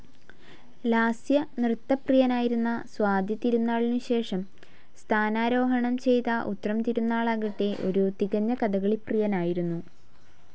ലാസ്യനൃത്തപ്രിയനായിരുന്ന സ്വാതിതിരുനാളിനുശേഷം സ്ഥാനാരോഹണം ചെയ്ത ഉത്രം തിരുനാളാകട്ടെ ഒരു തികഞ്ഞ കഥകളി പ്രിയനായിരുന്നു.